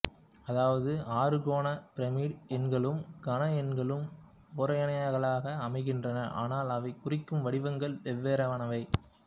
அதாவது அறுகோண பிரமிடு எண்களும் கன எண்களும் ஒரேயெண்களாக அமைகின்றன ஆனால் அவை குறிக்கும் வடிவங்கள் வெவ்வேறானவை